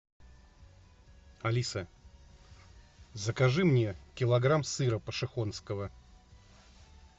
алиса закажи мне килограмм сыра пошехонского